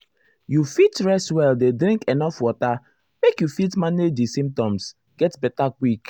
you fit rest well dey drink enuf water make you fit manage di symptoms get beta quick.